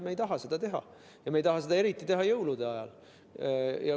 Me ei taha seda teha ja eriti ei taha me seda teha jõulude ajal.